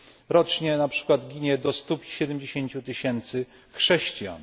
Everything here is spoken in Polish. Rocznie na przykład ginie do 170 tysięcy chrześcijan.